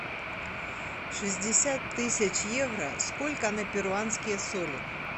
шестьдесят тысяч евро сколько на перуанские соли